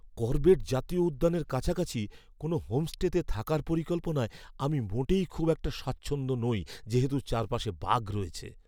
Corbett জাতীয় উদ্যানের কাছাকাছি কোনো হোমস্টেতে থাকার পরিকল্পনায় আমি মোটেই খুব একটা স্বাচ্ছন্দ্য নই যেহেতু চারপাশে বাঘ রয়েছে!